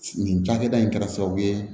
Nin cakɛda in kɛra sababu ye